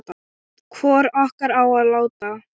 Hvor okkar á að láta